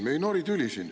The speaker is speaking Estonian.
Me ei nori siin tüli.